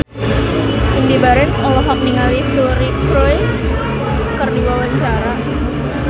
Indy Barens olohok ningali Suri Cruise keur diwawancara